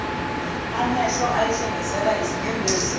aso ayesehlengezela izinyembezi